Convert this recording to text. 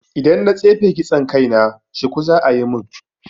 Idan na tsefe kitson kai na, shuku za'a yi mun